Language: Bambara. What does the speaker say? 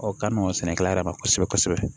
ka mɔgɔninsɛnɛkɛla yɛrɛ ma kosɛbɛ kosɛbɛ